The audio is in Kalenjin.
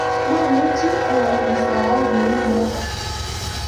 mamuchi awolu saut ne u noto